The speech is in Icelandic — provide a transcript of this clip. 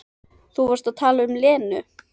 Þú varst að tala um Lenu.